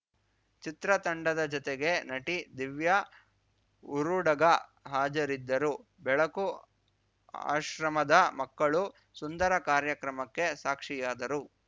ಚಿತ್ರತಂಡದ ಜತೆಗೆ ನಟಿ ದಿವ್ಯಉರುಡಗ ಹಾಜರಿದ್ದರು ಬೆಳಕು ಆಶ್ರಮದ ಮಕ್ಕಳು ಸುಂದರ ಕಾರ್ಯಕ್ರಮಕ್ಕೆ ಸಾಕ್ಷಿಯಾದರು